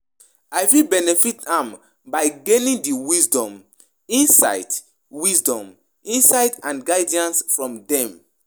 I fit benefit am by gaining di wisdom, insight wisdom, insight and guidance from dem.